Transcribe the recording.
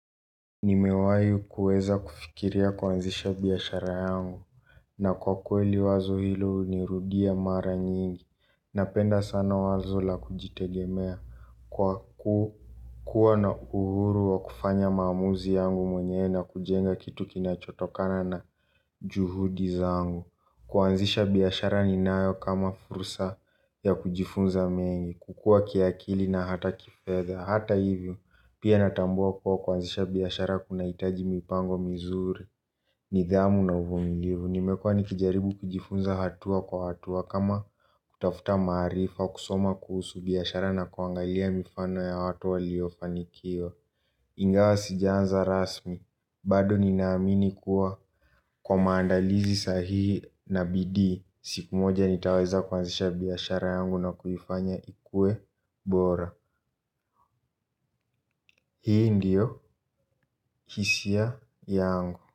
Nimewai kuweza kufikiria kwanzisha biashara yangu. Na kwa kweli wazo hilo unirudia mara nyingi. Napenda sana wazo la kujitegemea. Kwa kuwa na uhuru wa kufanya maamuzi yangu mwenyewe na kujenga kitu kinachotokana na juhudi zangu. Kwanzisha biashara ni nayo kama fursa ya kujifunza mengi. Kukua kiakili na hata kifedha. Hata hivyo, pia natambua kwa kwanzisha biashara kuna itaji mipango mizuri. Nidhamu na uvumilivu, nimekua nikijaribu kijifunza hatua kwa hatua. Kama kutafuta maarifa, kusoma kuhusu biashara na kuangalia mifano ya watu waliofanikiwa ingawa sijaanza rasmi, bado ninaamini kuwa kwa maandalizi sahihi na bidii siku moja nitaweza kwanzisha biashara yangu na kuifanya ikue bora. Hii ndio hisia yangu.